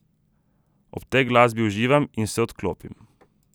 Ob tej glasbi uživam in se odklopim.